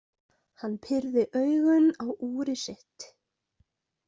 Hann pírði augun á úrið sitt.